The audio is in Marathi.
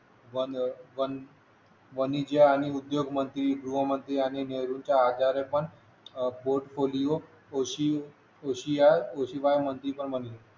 वन वन वणीचे आणि उद्योग मंत्री गृहमंत्री आणि नेहरू च्या आजारपण अह पोर्टफोलिओ कृषी या कृषी बाय मंत्री पण बनले